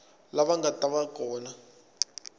lava nga ta va kona